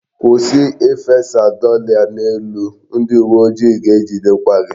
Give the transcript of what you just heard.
Kwụsị ifesa dọla n'elu! Ndị uwe ojii ga-ejidekwa gị.